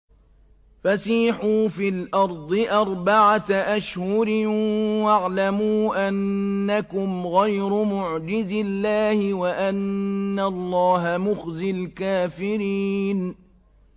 فَسِيحُوا فِي الْأَرْضِ أَرْبَعَةَ أَشْهُرٍ وَاعْلَمُوا أَنَّكُمْ غَيْرُ مُعْجِزِي اللَّهِ ۙ وَأَنَّ اللَّهَ مُخْزِي الْكَافِرِينَ